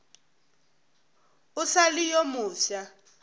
o sa le yo mofsa